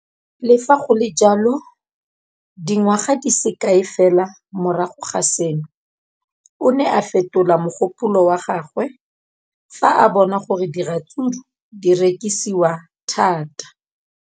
Le fa go le jalo, dingwaga di se kae fela morago ga seno, o ne a fetola mogopolo wa gagwe fa a bona gore diratsuru di rekisiwa thata.